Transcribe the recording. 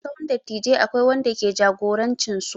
A sahun dattijai akwai wanda ke jagorancin su.